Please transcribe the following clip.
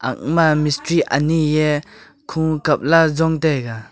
ema mistri mistri ani ye kho kap la jong tega.